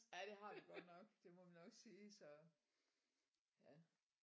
Ja det har vi godt nok det må man nok sige så ja